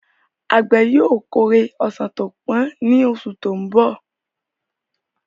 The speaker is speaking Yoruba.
Àgbẹ̀ yóò kórè ọsàn tó pọ́n ní oṣù tó ń bọ̀.